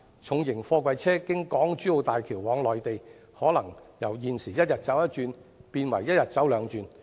重型貨櫃車經港珠澳大橋往內地，可能由現時一天一趟變為一天兩趟。